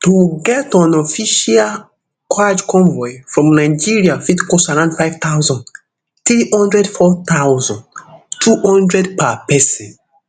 to get on official hajj convoy from nigeria fit cost around five thousand, three hundred four thousand, two hundred per pesin